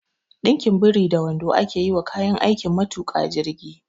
Ɗinkin biri da wando ake yi wa kayan aikin matuƙa jirgi